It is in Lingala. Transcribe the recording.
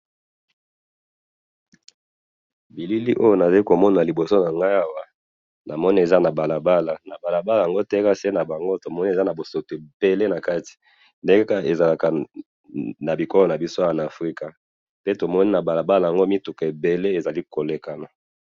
Namoni na elili oyo balabala ya bosoto, mituka ebele eza koleka.